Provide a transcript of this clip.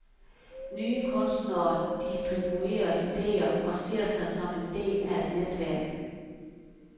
Nye kunstnere distribuerer ideer og ser sig som en del af et netværk.